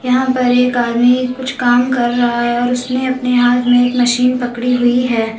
यहां पर एक आदमी कुछ काम कर रहा है और उसने अपने हाथ में एक मशीन पकड़ी हुई है।